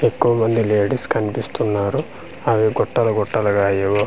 ఎక్కువమంది లేడీస్ కన్పిస్తున్నారు అవి గుట్టలు గుట్టలుగ ఏవో పసుప్.